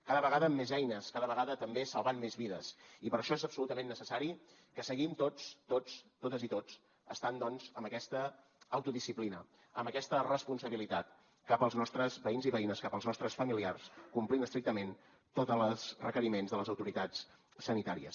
cada vegada amb més eines cada vegada també salvant més vides i per això és absolutament necessari que seguim tots totes i tots estan doncs amb aquesta autodisciplina amb aquesta responsabilitat cap als nostres veïns i veïnes cap als nostres familiars complint estrictament tots les requeriments de les autoritats sanitàries